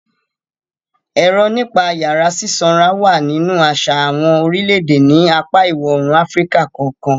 Èrò nípa ìyàrá sísanra wà nínú àṣà àwọn orílẹ̀-èdè ní apá ìwọ-oòrùn Áfíríkà kọ̀ọ̀kan.